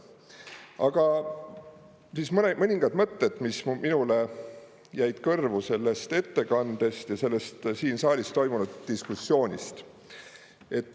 Aga mõningad mõtted, mis minule jäid kõrvu sellest ettekandest ja sellest siin saalis toimunud diskussioonist.